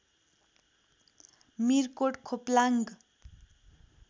Mirkot Khoplang